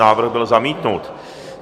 Návrh byl zamítnut.